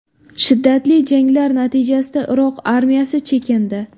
Shiddatli janglar natijasida Iroq armiyasi chekindi.